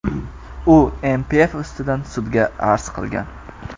U NPF ustidan sudga arz qilgan.